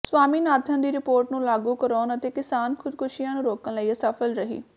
ਸਵਾਮੀਨਾਥਨ ਦੀ ਰਿਪੋਰਟ ਨੂੰ ਲਾਗੂ ਕਰਾਉਣ ਅਤੇ ਕਿਸਾਨ ਖੁਦਕੁਸ਼ੀਆਂ ਨੂੰ ਰੋਕਣ ਲਈ ਅਸਫਲ ਰਹੀ